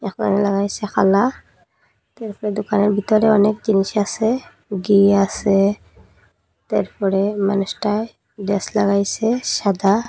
এখন লাগাইসে খাল্লা এরপরে দোকানের বিতরে অনেক জিনিস আসে গী আসে তাইরপরে মানুষটায় ডেস লাগাইসে সাদা।